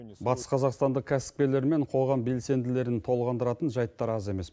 батыс қазақстанда кәсіпкерлер мен қоғам белсенділерін толғандыратын жәйттар аз емес